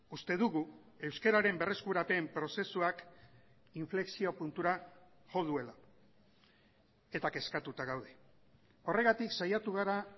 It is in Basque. uste dugu euskararen berreskurapen prozesuak inflexio puntura jo duela eta kezkatuta gaude horregatik saiatu gara